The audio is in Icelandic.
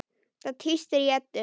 Það tístir í Eddu.